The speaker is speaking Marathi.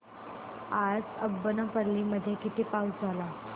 आज अब्बनपल्ली मध्ये किती पाऊस झाला